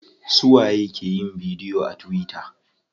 Suwa ye ke yin bidiyo a tuwita?